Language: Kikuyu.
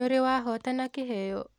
Nĩũrĩ wahotana kĩheo?